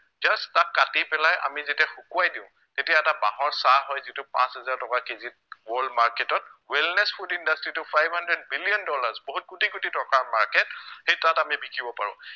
তাক কাটি পেলাই আমি যেতিয়া শুকুৱাই দিও তেতিয়া এটা বাঁহৰ চাহ হয় যিটো পাঁচ হেজাৰ টকা কেজিত world market ত wellness food industry টো five hundred billion dollars বহুত কোটি কোটি টকাৰ market সেই তাত আমি বিকিব পাৰো